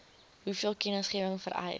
hoeveel kennisgewing vereis